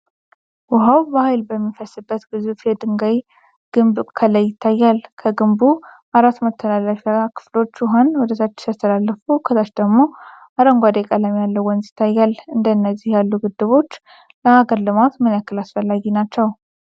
ውኃው በኃይል በሚፈስበት ግዙፍ የድንጋይ ግድብ ከላይ ይታያል። የግድቡ አራት መተላለፊያ ክፍሎች ውኃን ወደታች ሲያስተላልፉ ከታች ደግሞ አረንጓዴ ቀለም ያለው ወንዝ ይታያል። እንደነዚህ ያሉ ግድቦች ለሀገር ልማት ምን ያህል አስፈላጊ ናቸው?